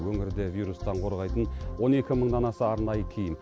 өңірде вирустан қорғайтын он екі мыңнан аса арнайы киім